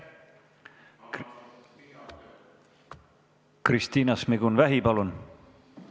Kristina Šmigun-Vähi, palun!